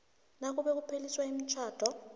nakube kupheliswa umtjhado